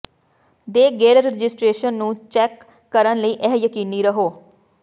ਦੇ ਗੇੜ ਰਜਿਸਟਰੇਸ਼ਨ ਨੂੰ ਚੈੱਕ ਕਰਨ ਲਈ ਇਹ ਯਕੀਨੀ ਰਹੋ